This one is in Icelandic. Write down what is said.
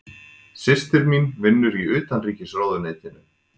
Systir mín vinnur í Utanríkisráðuneytinu.